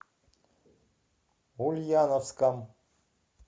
ульяновском